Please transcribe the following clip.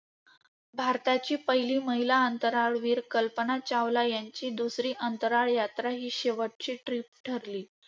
भारताची पहिली महिला अंतराळवीर कल्पना चावला यांची दुसरी अंतराळ यात्रा हि शेवटची trip ठरली.